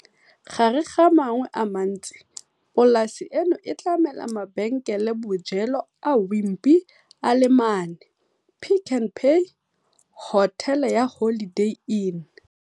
Gare ga a mangwe a mantsi, polasi eno e tlamela mabenkelebojelo a Wimpy a le mane, Pick n Pay, hotele ya Holiday Inn